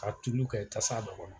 Ka tulu kɛ tasa dɔ kɔnɔ.